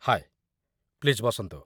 ହାଏ, please ବସନ୍ତୁ ।